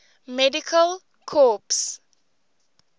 medical corps